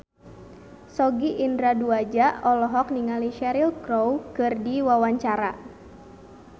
Sogi Indra Duaja olohok ningali Cheryl Crow keur diwawancara